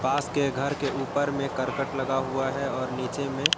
पास के घर के ऊपर में करकट लगा हुआ है और नीचे में--